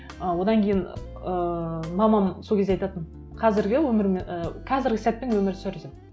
ы одан кейін ыыы мамам сол кезде айтатын қазіргі і қазіргі сәтпен өмір сүр деп